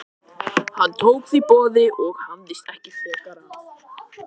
Hann tók því boði og hafðist ekki frekar að.